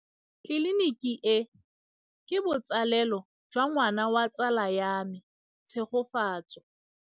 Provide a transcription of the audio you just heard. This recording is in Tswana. Tleliniki e, ke botsalêlô jwa ngwana wa tsala ya me Tshegofatso.